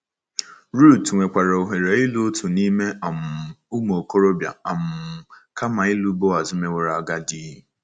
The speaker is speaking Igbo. Ruth nwekwaara ohere ịlụ otu n’ime um “ụmụ okorobịa” um kama ịlụ Boaz meworo agadi